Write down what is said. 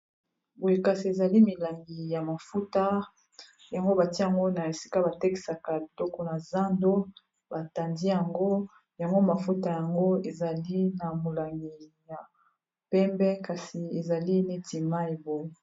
Boye kasi ezali milangi ya mafuta yango batia yango na esika batekisaka biloko na zando batandi yango yango mafuta yango ezali na molangi ya pembe kasi ezali neti mayi boye.